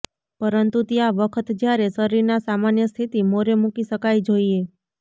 પરંતુ ત્યાં વખત જ્યારે શરીરના સામાન્ય સ્થિતિ મોરે મૂકી શકાય જોઈએ